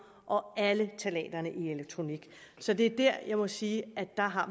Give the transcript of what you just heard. og alle ftalaterne i elektronik så det er der jeg må sige at vi har